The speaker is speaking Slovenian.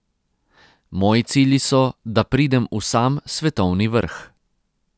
Moji cilji so, da pridem v sam svetovni vrh.